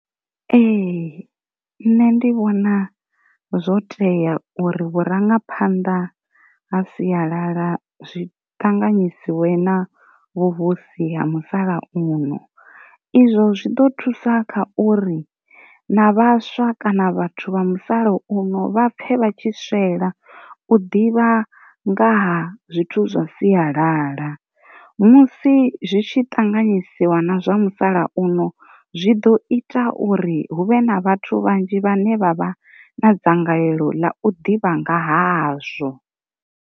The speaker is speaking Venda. Ee nṋe ndi vhona zwo tea uri vhu rangaphanḓa ha siyalala zwi ṱanganyisiwe na vhuvhusi ha musalauno, izwo zwi hone ḓo thusa kha uri na vhaswa kana vhathu vha musala uno vhapfe vha tshi swela u ḓivha ngaha zwithu zwa siyalala, musi zwi tshi ṱanganyisiwa na zwa musalauno zwi ḓo ita uri huvhe na vhathu vhanzhi vhane vha vha na dzangalelo ḽa u ḓivha nga hazwo.